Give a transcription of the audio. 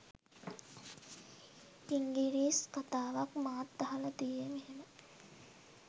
ඉංගිරිස් කතාවක් මාත් අහලා තියේ මෙහෙම